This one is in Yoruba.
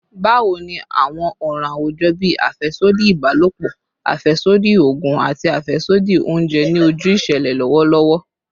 Bawo ni awọn ọran awujọ bii afẹsodi ibalopọ, afẹsodi oogun, ati afẹsodi ounjẹ ni oju iṣẹlẹ lọwọlọwọ?